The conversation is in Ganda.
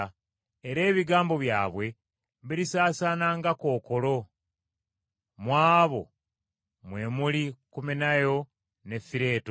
Era ebigambo byabwe birisaasaana nga kookolo; mu abo mwe muli Kumenayo ne Fireeto,